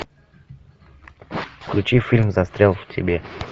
включи фильм застрял в тебе